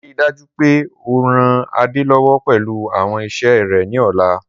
Rii daju pe o ran Ade lọwọ pẹlu awọn iṣẹ rẹ ni ọla!